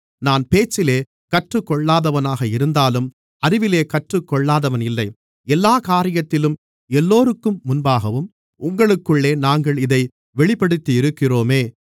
நான் பேச்சிலே கற்றுக்கொள்ளாதவனாக இருந்தாலும் அறிவிலே கற்றுக்கொள்ளாதவன் இல்லை எல்லாக் காரியத்திலும் எல்லோருக்கும் முன்பாகவும் உங்களுக்குள்ளே நாங்கள் இதை வெளிப்படுத்தியிருக்கிறோமே